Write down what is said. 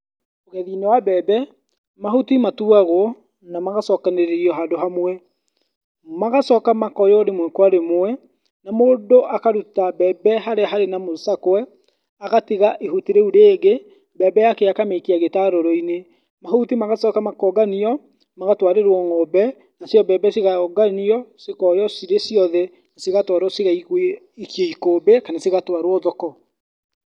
Ũgethi wa mbembe, mahuti matuagwo na magacokanĩrĩrio handũ hamwe, magacoka makoywo rĩmwe kwa rĩmwe, mũndũ akaruta mbembe harĩa harĩ na mũcakwe, agatiga ihuti rĩu rĩngĩ, mbembe yake akamĩikia gĩtarũrũ-inĩ. Mahuti magacoka makonganio magatwarĩrwo ng'ombe, nacio mbembe cikonganio, cikoywo cirĩ ciothe cigatwarwo cigaikio ikũmbĩ kana cigatwarwo thoko.